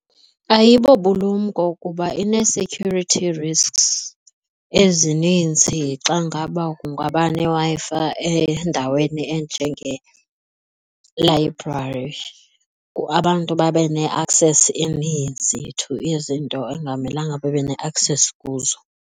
Ayibobulumko kuba inee-security risks ezininzi xa ngaba kungaba neWi-Fi endaweni enjengee-library, abantu babe ne-access eninzi to izinto engamelanga babe ne-access kuzo.